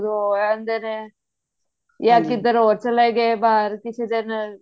ਹੋ ਆਂਦੇ ਨੇ ਹੋਰ ਚਲੇ ਗਏ ਬਾਹਰ ਕਿਸੇ ਜਗ੍ਹਾ